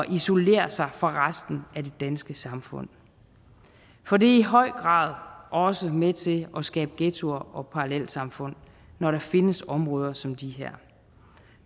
isolere sig fra resten af det danske samfund for det er i høj grad også med til at skabe ghettoer og parallelsamfund når der findes områder som de her